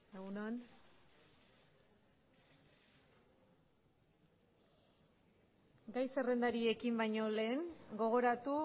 egun on gai zerrendari ekin baino lehen gogoratu